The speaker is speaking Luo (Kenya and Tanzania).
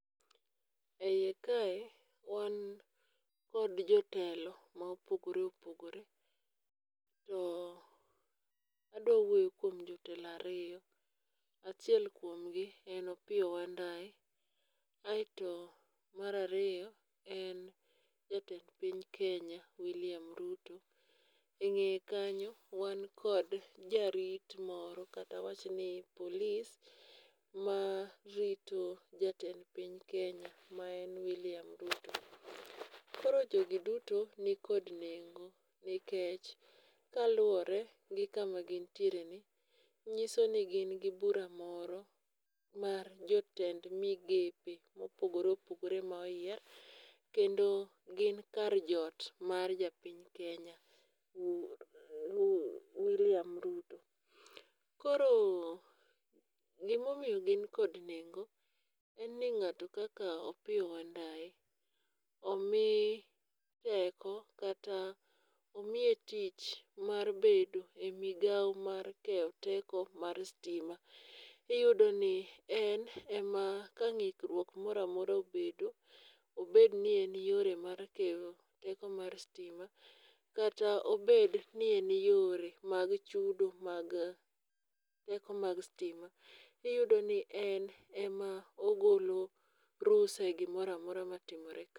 E iye kae wn kod jotelo mopogore opogore, to adawuoyo kuom jotelo ariyo. Achiel kuom gi en Opiyo Wandayi ,aeto mar ariyo en jatend piny Kenya William Ruto. E ng'eye kanyo wan kod jarit moro kata awachni polis marito jatend piny Kenya ma en William Ruto. koro jogi duto nikod nengo nikech kaluwore gi kama gintiere ni nyiso ni gin gi bura moro mar jotend migepe mopogore opogore moyier kendo gin kar joot mar japiny Kenya William ruto. Koro gimomiyo gin kod nengo en ni ng'ato kaka Opiyo Wandayi, omi teko kata omiye tich mar bedo e migawo mar keyo teko mar stima. Iyudo ni en ema ka ng'ikruok mora mora obedo, obed ni en yore mar keyo teko mar stima kata obed ni en yore mag chudo mag teko mag stima, iyudo ni en ema ogolo rusa e gimoro amora matimore ka.